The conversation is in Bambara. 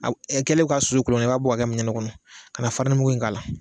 Ɛ kɛlen k'a susu kolo kɔnɔ i b'a bɔ ka kɛ minɛ kɔnɔ ka na farinimugu in k'a la